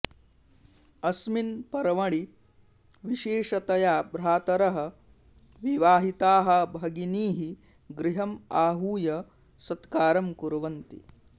अस्मिन् पर्वणि विशेषतया भ्रातरः विवाहिताः भगिनीः गृहम् आहूय सत्कारं कुर्वन्ति